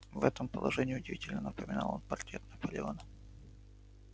в этом положении удивительно напоминал он портрет наполеона